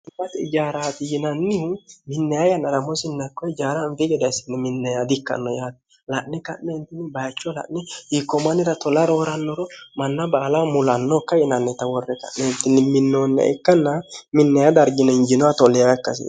himati ijaaraati yinannihu minneya yannaramoosinnakko ijaaraanfii geda yissinni minneyaa di ikkanno yaati la'ni ka'neentinni bayicho la'ni hiikkoomannira tola roorannoro manna baala mulannookka yinanneta worre ka'neentinni minnoonna ikkanna minneya dargine hinjinoha tolleewa ikkasi